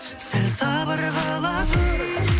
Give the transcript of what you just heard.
сәл сабыр қыла тұр